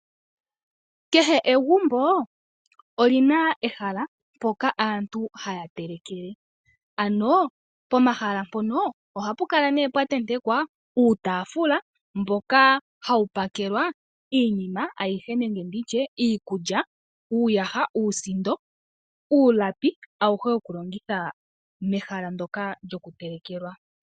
Kehe egumbo olina ehala mpoka aantu haya telekele. Ano pomahala mpono ohapukala ne pwatentekwa uutaafula mboka hawu pakelwa iinima ayihe nenge nditye iikulya, uuyaha, uusindo, uulapi, awuhe wokulongithwa mehala ndoka lyokutelekelwa.